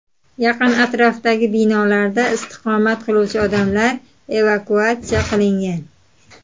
Yaqin atrofdagi binolarda istiqomat qiluvchi odamlar evakuatsiya qilingan.